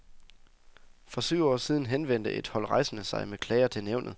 For syv år siden henvendte et hold rejsende sig med klager til nævnet.